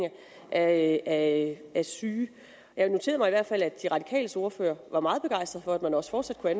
af af syge jeg noterede mig i hvert fald at de radikales ordfører var meget begejstret for at man også fortsat kunne